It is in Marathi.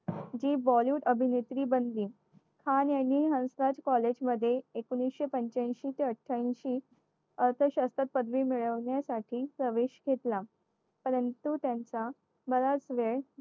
जी Bollywood अभिनेत्री बनली